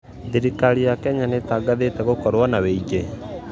Thĩrĩkarĩ ya Kenya nĩtangathĩte gũkorwo na wĩigwĩ